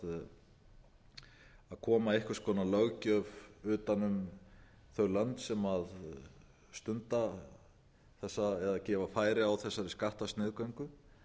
að koma einhvers konar löggjöf utan um þau lönd sem gefa færi á þessari skattasniðgöngu